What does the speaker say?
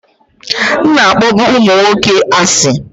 M na-akpọbu ụmụ nwoke asị